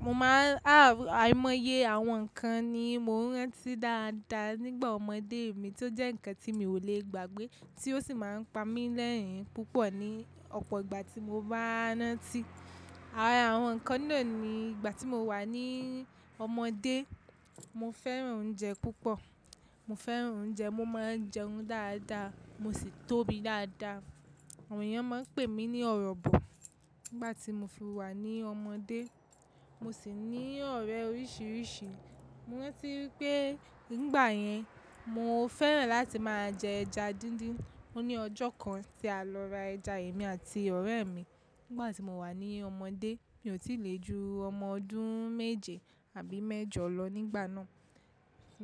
Mo máa á àìmọye àwọn nǹkan ni mo ń rántí dáadáa nígbà ọmọdé mi tó jẹ́ nǹkan tí mi ò lè gbàgbé tí ó sì máa ń pa mí lẹ́rin púpọ̀ ní ọ̀pọ̀ ìgbà tí mo bá ránti. Àra awon nǹkan náà ni ìgbà tí mo wà ní ọmọdé, mo fẹ́ràn oúnjẹ púpọ̀, mo fẹ́ràn oúnjẹ, mo máa ń jẹun dáadáa, mo sì tóbi dáadáa. Àwọn èèyàn máa ń pè mí ní ọ̀rọ̀bọ̀ nígbà tí mo fi wà ní ọmọdé. Mo sì ní ọ̀rẹ́ oríṣiríṣi. Mo rántí wípé nígbà yẹn mo fẹ́ràn láti máa jẹ ẹja díndín. Ó ní ọjọ́ kan tí a lọ ra ẹja èmi àti ọ̀rẹ́ mi nígbà tí mo wà ní ọmọdé. Mi ò tí lè ju ọmọ ọdún méje àbí mẹ́jọ lọ nígbà náà.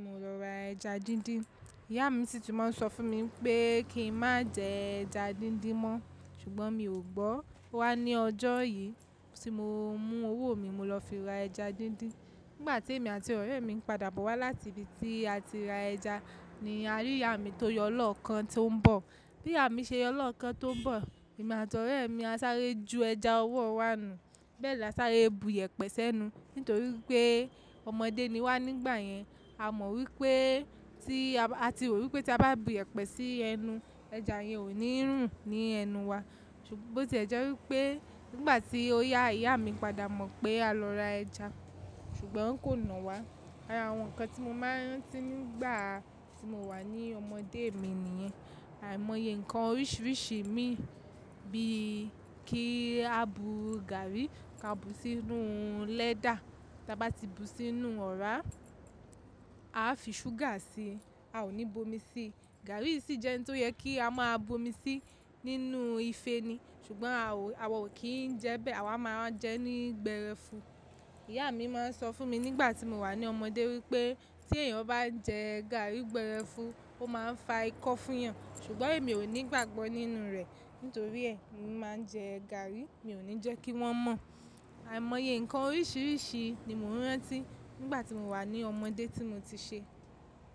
Mo lọ ra ẹja díndín. Ìyá mi sì ti máa ń sọ fún mi wípé kí n má jẹ ẹja díndín mọ́ ṣùgbọ́n mi ò gbọ́. Ó wá ní ọjọ́ yìí tí mo mú owó mi mo lọ fi ra ẹja díndín. Nígbà tí èmi àti ọ̀rẹ́ mi ń padà bọ̀ wá láti ibi tí a ti ra ẹja ni a rí ìyá mi tó yọ lọ́kan tó ń bọ̀. Bí ìyá mi ṣe yọ lọ́kan tó ń bọ̀, èmi àti ọ̀rẹ́ mi a sáré ju ẹja ọwọ́ wa nù. Bẹ́ẹ̀ la sáré bu yẹpẹ́ sẹ́nu nítorí pé ọmọdé ni wá nígbà yẹn. A mọ̀ wípé tí a ti rò wípé tí a bá bu yẹpẹ́ sí ẹnu, ẹja yẹn ò ní rùn ní ẹnu wa. Bo tí ẹ jẹ́ wípé nígbà tí ó yá ìyá mi padà mọ̀ pé a lọ ra ẹja, ṣùgbọ́n ó kò nà wá. Àwọn nǹkan tí mo máa ń rántí nígbà tí mo wà ní ọmọdé mi nìyẹn. Àìmọye nǹkan oríṣiríṣi imi bí kí a bu gàárì ká bu sínú lẹ́dà. Ta bá ti bu sínú ọ̀rá, a á fi ṣúgà sí i, a ò ní bomi sí i. Gàárì sì jẹ́ ohun tó yẹ kí a máa bomi sí nínú ife ni, ṣùgbọ́n a ò, àwa ò kí ń jẹ bẹ́ẹ̀, àwa máa ń jẹ ẹ́ ní gbẹ́rẹ́fu. Ìyá mi máa ń sọ fún mi nígbà tí mo wà ní ọmọdé wípé tí èèyàn bá n jẹ gàárì gbẹ́rẹ́fu, ó máa ń fa ikọ́ fún ìyàn, ṣùgbọ́n èmi ò ní ìgbàgbọ́ nínú rẹ̀. Nítorí ẹ emi máa ń jẹ gàárì mi ò ní jẹ́ kí wọ́n mọ̀. Àìmọye nǹkan oríṣiríṣi ni mo ń rántí nígbà tí mo wà ní ọmọdé tí mo ti ṣe.